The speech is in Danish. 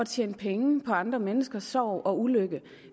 tjene penge på andre menneskers sorg og ulykke